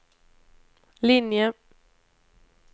linje